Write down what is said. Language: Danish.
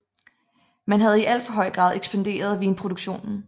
Man havde i alt for høj grad ekspanderet vinproduktionen